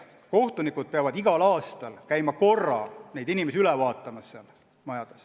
Kohtunikud peavad igal aastal käima korra kohapeal neid inimesi üle vaatamas.